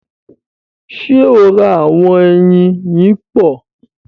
Ṣe o rá awọn ẹyin yipo?